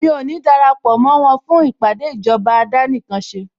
Mí ò ní darapọ̀ mó wọn fún ìpàdé ìjọba àdánìkanṣe